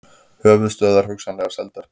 Höfuðstöðvar hugsanlega seldar